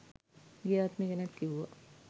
ගිය ආත්මේ ගැනත් කිව්වා.